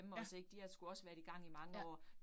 Ja. Ja